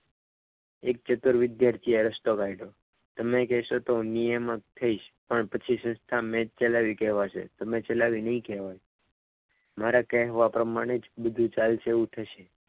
એક ખેતર વિદ્યાર્થીએ રસ્તો કાઢ્યો. તમે કહેશો તો હું નિયામક થઈશ પણ પછી સંસ્થા મેં જ ચલાવી કહેવાશે તમે ચલાવી નહીં કહેવાય મારે મારા કહેવા પ્રમાણે જ બધું ચાલશે એવું થશે.